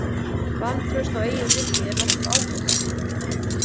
Vantraust á eigið minni er nokkuð áberandi.